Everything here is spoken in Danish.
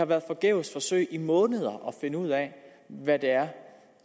vi har forgæves forsøgt i måneder at finde ud af hvad det er